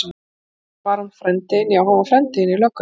Eftir það var hann frændi þinn, já hann var frændi þinn í löggunni.